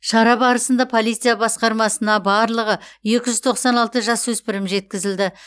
шара барысында полиция басқармасына барлығы екі жүз тоқсан алты жасөспірім жеткізілді